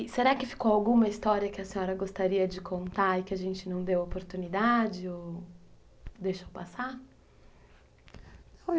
E será que ficou alguma história que a senhora gostaria de contar e que a gente não deu oportunidade ou deixou passar?